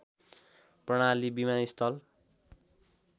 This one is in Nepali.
प्रणाली विमानस्थल